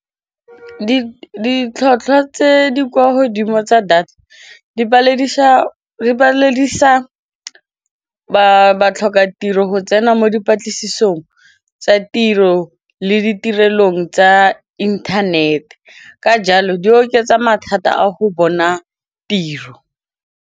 Ditlhwatlhwa tse di kwa godimo tsa data di paledisa batlhoka tiro go tsena mo dipatlisisong tsa tiro le ditirelong tsa inthanete ka jalo di oketsa mathata a go bona tiro.